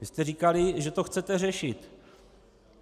Vy jste říkali, že to chcete řešit.